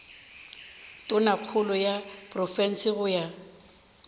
tonakgolo ya profense go ya